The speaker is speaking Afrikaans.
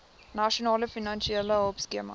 nasionale finansiële hulpskema